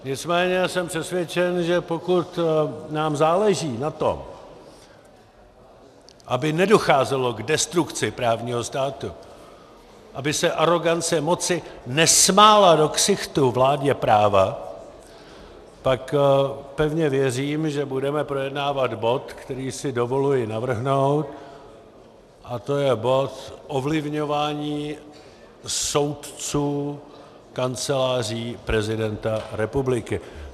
Nicméně jsem přesvědčen, že pokud nám záleží na tom, aby nedocházelo k destrukci právního státu, aby se arogance moci nesmála do ksichtu vládě práva, pak pevně věřím, že budeme projednávat bod, který si dovoluji navrhnout, a to je bod Ovlivňování soudců Kanceláří prezidenta republiky.